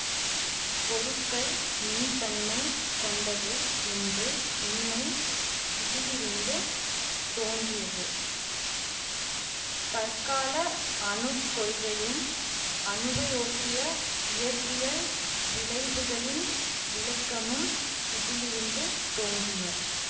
பொருள்கள் மின்தன்மை கொண்டவை என்று உண்மை இதிலிருந்து தோன்றியது தற்கால அணுக் கொள்கையும் அணுவையொட்டிய இயற்பியல் விளைவுகளின் விளக்கமும் இதிலிருந்து தோன்றின